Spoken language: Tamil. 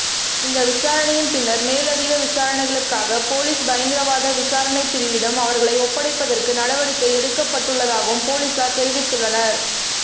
இந்த விசாரணையின் பின்னர் மேலதிக விசாரணைகளுக்காக பொலிஸ் பயங்கரவாத விசாரணைப் பிரிவிடம் அவர்களை ஒப்படைப்பதற்கு நடவடிக்கை எடுக்கப்பட்டுள்ளதாகவும் பொலிஸார் தெரிவித்துள்ளனர்